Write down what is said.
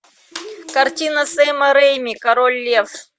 картина сэма рейми король лев